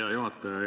Hea juhataja!